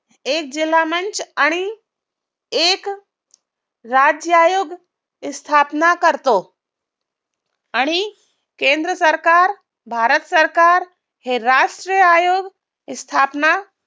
एक जिल्हा मंच आणि एक राज्य आयोग स्थापना करतो आणि केंद्र सरकार, भारत सरकार हे राष्ट्र आयोग स्थापना